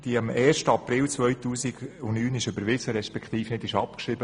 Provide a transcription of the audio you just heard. Sie wurde am 1. April 2009 überwiesen, respektive nicht abgeschrieben.